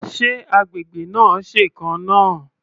Ṣé agbègbè náà ṣèkan náà?